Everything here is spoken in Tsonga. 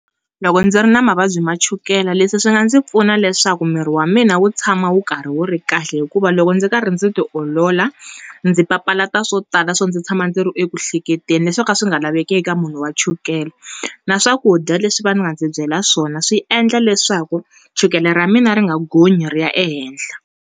Loko ndzi ri na mavabyi ma chukela leswi swi nga ndzi pfuna leswaku mirhi wa mina wu tshama wu karhi wu ri kahle hikuva loko ndzi karhi ndzi ti olola, ndzi papalata swo tala swo ndzi tshama ndzi ri eku ku hleketeni swo ka swi nga lavekeki ka munhu wa chukela. Na swakudya leswi va ndzi byela swona swi endla leswaku chukela ra mina ri nga gonyi ri ya ehenhla.